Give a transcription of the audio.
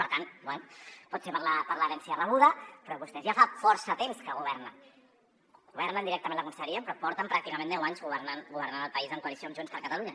per tant bé pot ser per l’herència rebuda però vostès ja fa força temps que governen governen directament la conselleria però porten pràcticament deu anys governant el país en coalició amb junts per catalunya